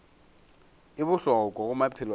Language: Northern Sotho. e bohlokwa go maphelo a